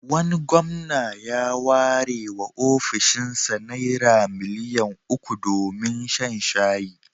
Wani gwamna ya warewa ofishinsa Naira miliyan uku domin shan shayi.